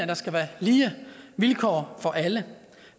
der skal være lige vilkår for alle